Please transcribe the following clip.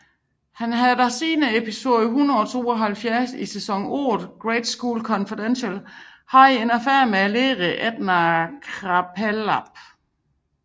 Han har siden episode 172 i sæson 8 Grade School Confidential haft en affære med læren Edna Krabappel